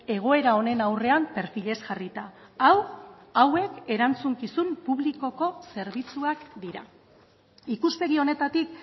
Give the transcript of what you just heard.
egoera honen aurrean perfilez jarrita hau hauek erantzukizun publikoko zerbitzuak dira ikuspegi honetatik